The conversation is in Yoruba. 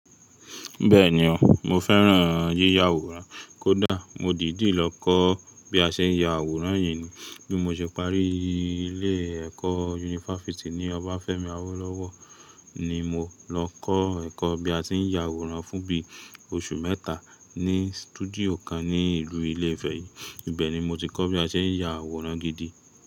Bẹ́ẹ̀ni o, mo fẹ́ràn yíya àwòrán kódà mo dìdí lọ kọ́ bí a ṣe ya àwòrán yìí ni. Bí mo ṣe parí ilé ẹ̀kọ́ yunifásítì ní Obafemi Awolowo ni mo lọ kọ́ ẹ̀kọ́ bí a ṣe ń ya àwòrán fún bí oṣù mẹ́ta ní stúdíò kan ní ìlú ìlú Ilé Ifẹ̀ yìí. Ìbẹ̀ ni mo ti kọ́ bí a ṣe ń ya àwòrán gidi.